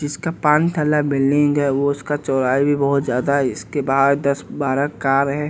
इसका पानथला बिल्डिंग है वो उसका चौड़ाई भी बहुत ज्यादा है इसके बाहर दस-बारह कार हैं।